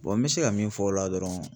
n mi se ka min fɔ o la dɔrɔn